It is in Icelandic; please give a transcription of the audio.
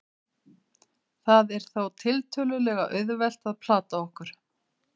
það er þó tiltölulega auðvelt að plata okkur